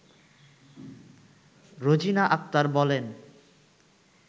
রোজিনা আক্তার বলেন